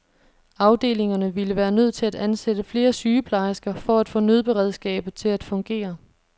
Afdelingerne ville være nødt til at ansætte flere sygeplejersker for at få nødberedskabet til at fungere.